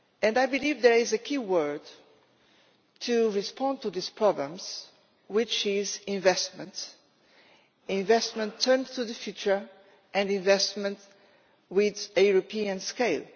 I believe there is a key word to respond to these problems, which is investment investment turned to the future, and investment on a European scale.